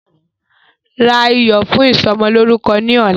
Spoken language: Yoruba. Ra iyọ̀ fún ìsọmọlórúkọ ni ọ̀la!